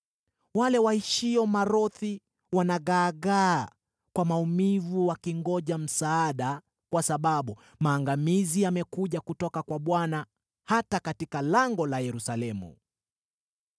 Wale waishio Marothi wanagaagaa kwa maumivu wakingoja msaada, kwa sababu maangamizi yamekuja kutoka kwa Bwana , hata katika lango la Yerusalemu.